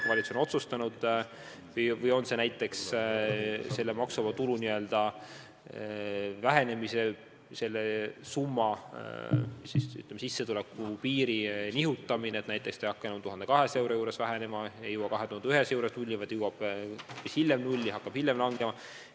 Või tuleks näiteks maksuvaba tulu reegeid muuta, nii et see ei hakka enam 1200 euro juures vähenema ega jõua 2100 euro juures nulli, vaid jõuab hoopis hiljem nulli ja hakkab hiljem langema.